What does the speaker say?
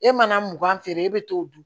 E mana mugan feere e bɛ t'o dun